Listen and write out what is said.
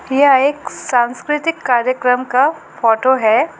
यह एक सांस्कृतिक कार्यक्रम का फोटो है।